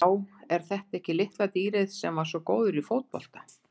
Já er þetta ekki litla dýrið sem var svo góður í fótbolta?